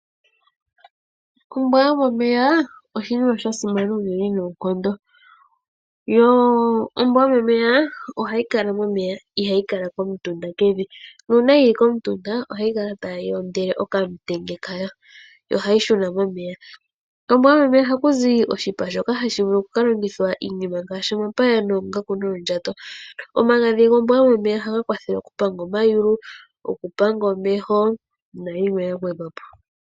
Ombwa yomomeya oshinima sha simana unene noonkondo. Ohayi kala momeya, ihayi kala komutunda kevi. Nuuna yi li komutunda ohayi kala tayi ondele okamutenya kayo nohayi shuna momeya. Kombwa yomomeya ohaku zi oshipa shoka hashi vulu okukalongithwa iinima ngaashi omapaya, oongaku noondjato. Omagadhi gombwa yomomeya ohaga kwathele okupanga omayulu , okupanga omeho nayilwe ya gwedhwa po.